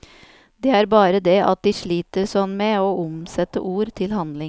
Det er bare det at de sliter sånn med å omsette ord til handling.